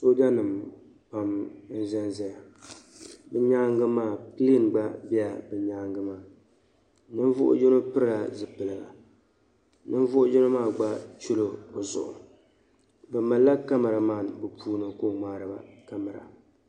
Soojanima pam n-zan zaya bɛ nyaaŋa maa pilain gba bɛla bɛ nyaaŋa maa niŋvuhi yino pirila zipiliga niŋvuhi yino maa gba chɛla o zuɣu bɛ malila "camera man" bɛ puuni ka o ŋmaari ba "camera".